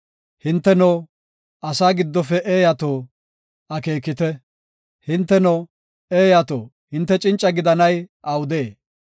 Hinteno, asaa giddofe eeyato, akeekite! hinteno, eeyato hinte cinca gidanay awudee?